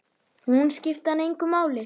Hún skipti hann engu máli.